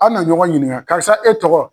A be na ɲɔgɔn ɲiniga karisa e tɔgɔ